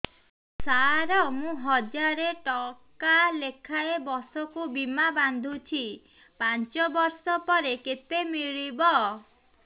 ସାର ମୁଁ ହଜାରେ ଟଂକା ଲେଖାଏଁ ବର୍ଷକୁ ବୀମା ବାଂଧୁଛି ପାଞ୍ଚ ବର୍ଷ ପରେ କେତେ ମିଳିବ